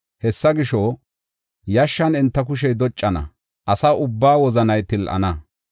Hessa gisho, yashshan enta kushey doccana; asa ubbaa wozanay til7ana.